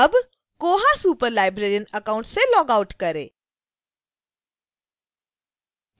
अब koha superlibrarian account से log out करें